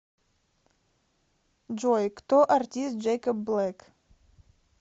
джой кто артист джэйкоб блэк